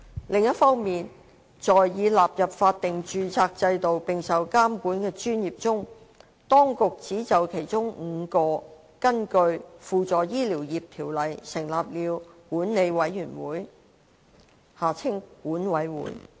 另一方面，在已納入法定註冊制度並受監管的專業中，當局只就其中5個根據《輔助醫療業條例》成立了管理委員會。